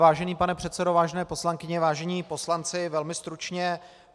Vážený pane předsedo, vážené poslankyně, vážení poslanci, velmi stručně.